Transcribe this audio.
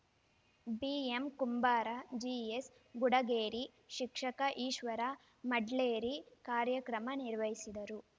ಬಿಎಂಕುಂಬಾರ ಜಿಎಸ್ಗುಡಗೇರಿ ಶಿಕ್ಷಕ ಈಶ್ವರ ಮೆಡ್ಲೇರಿ ಕಾರ್ಯಕ್ರಮ ನಿರ್ವಹಿಸಿದರು